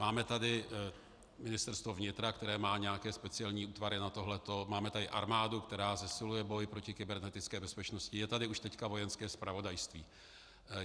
Máme tady Ministerstvo vnitra, které má nějaké speciální útvary na tohle, máme tady armádu, která zesiluje boj proti kybernetické bezpečnosti, je tady už teď Vojenské zpravodajství.